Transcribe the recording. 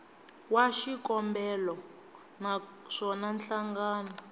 wa xikombelo na swona nhlangano